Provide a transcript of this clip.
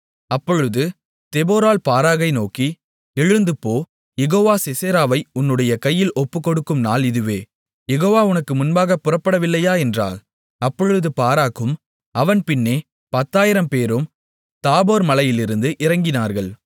அப்பொழுது தெபொராள் பாராக்கை நோக்கி எழுந்துபோ யெகோவா சிசெராவை உன்னுடைய கையில் ஒப்புக்கொடுக்கும் நாள் இதுவே யெகோவா உனக்கு முன்பாகப் புறப்படவில்லையா என்றாள் அப்பொழுது பாராக்கும் அவன் பின்னே 10000 பேரும் தாபோர் மலையிலிருந்து இறங்கினார்கள்